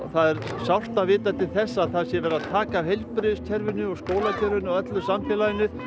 það er sárt að vita til þess að það sé verið að taka af heilbrigðiskerfinu og skólakerfinu og öllu samfélaginu